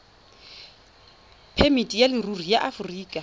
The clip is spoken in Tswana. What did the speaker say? phemiti ya leruri ya aforika